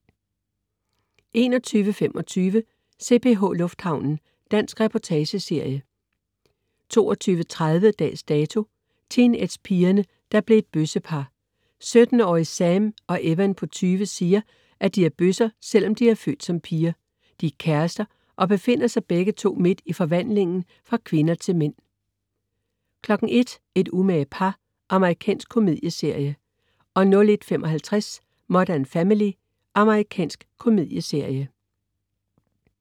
21.25 CPH Lufthavnen. Dansk reportageserie 22.30 Dags Dato: Teenagepigerne, der blev et bøssepar. 17-årige Sam og Evan på 20 siger, at de er bøsser, selv om de er født som piger. De er kærester og befinder sig begge to midt i forvandlingen fra kvinder til mænd 01.00 Et umage par. Amerikansk komedieserie 01.55 Modern Family. Amerikansk komedieserie